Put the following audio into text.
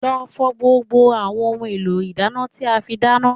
Lọ fọ gbogbo àwọn ohun èlò ìdáná tí a fi dáná